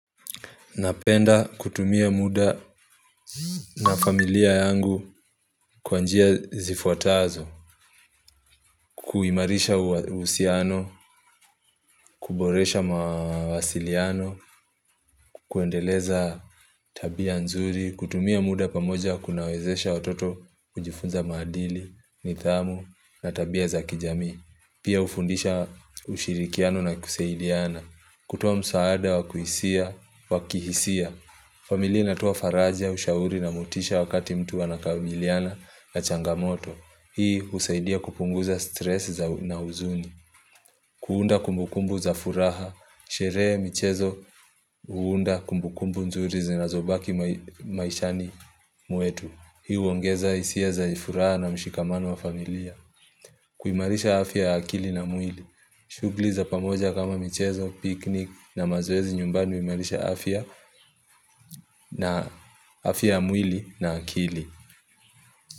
Napenda kutumia muda na familia yangu kwa njia zifuatazo, kuimarisha uhusiano, kuboresha mawasiliano, kuendeleza tabia nzuri, kutumia muda pamoja kunawezesha watoto kujifunza maadili, nidhamu na tabia za kijamii. Pia hufundisha ushirikiano na kusaidiana kutoa msaada wa kuhisia, wa kihisia familia inatoa faraja, ushauri na motisha wakati mtu anakabiliana na changamoto Hii husaidia kupunguza stress za na huzuni kuunda kumbukumbu za furaha Sherehe michezo huunda kumbukumbu nzuri zinazobaki maishani mwetu Hii huongeza hisia za furaha na mshikamano wa familia kuimarisha afya ya akili na mwili shughuli za pamoja kama michezo, picnic na mazoezi nyumbani huimarisha afya na afya ya mwili na akili.